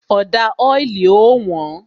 Ọ̀dà oili ó wón